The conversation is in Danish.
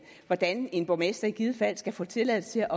hvordan en borgmester i givet fald skal få tilladelse